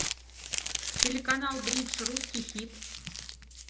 телеканал бридж русский хит